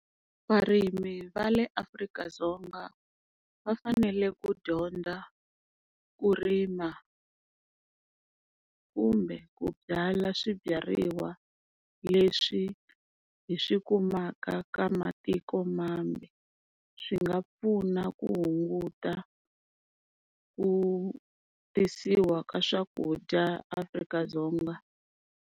Varimi va le Afrika-Dzonga va fanele ku dyondza ku rima, kumbe ku byala swibyariwa leswi hi swi kumaka ka matiko mambe, swi nga pfuna ku hunguta ku tisiwa ka swakudya Afrika-Dzonga.